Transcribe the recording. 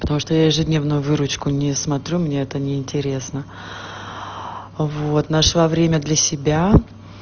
потому что я ежедневную выручку не смотрю мне это неинтересно вот нашла время для себя